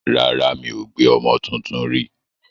Rárá, mi ò gbé ọmọ tuntun rí.